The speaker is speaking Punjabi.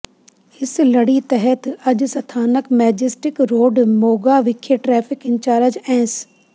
ਇਸ ਲੜੀ ਤਹਿਤ ਅੱਜ ਸਥਾਨਕ ਮੈਜਿਸਟਿਕ ਰੋਡ ਮੋਗਾ ਵਿਖੇ ਟ੍ਰੈਫਿਕ ਇੰਚਾਰਜ ਐੱਸ